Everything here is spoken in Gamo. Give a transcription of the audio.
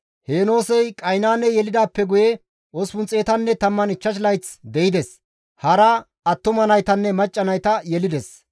Heenoosey Qaynaane yelidaappe guye 815 layth de7ides; hara attuma naytanne macca nayta yelides.